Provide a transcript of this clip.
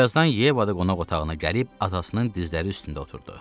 Birazdan Yeva da qonaq otağına gəlib atasının dizləri üstündə oturdu.